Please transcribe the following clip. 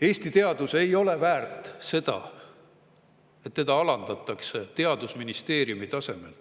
Eesti teadus ei ole väärt seda, et teda alandatakse teadusministeeriumi tasemel